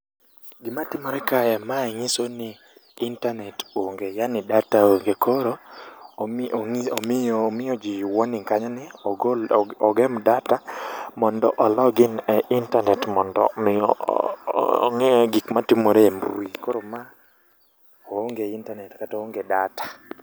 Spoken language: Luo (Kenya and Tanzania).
Gima timore kae, mae nyiso ni intanet onge yani data onge. Koro omi ong'i omiyo ji warning kanyo ni ogol ogem data mondo o log in e intanet mondo miyo ong'i gik matimore e mbui. Koro ma oonge intanet kata oonge data.